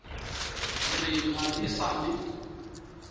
re ga e sa le